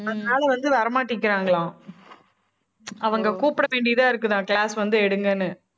அந்த ஆளு வந்து வர மாட்டிக்கிறாங்களாம். அவங்க கூப்பிட வேண்டியதா இருக்குதாம் class வந்து எடுங்கன்னு